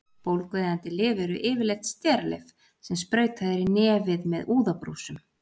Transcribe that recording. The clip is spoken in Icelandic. Bólgueyðandi lyf eru yfirleitt steralyf sem sprautað er í nefið með úðabrúsum.